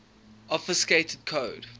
obfuscated code